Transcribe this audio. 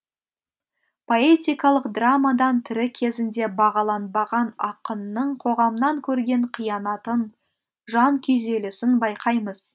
поэтикалық драмадан тірі кезінде бағаланбаған ақынның қоғамнан көрген қиянатын жан күйзелісін байқаймыз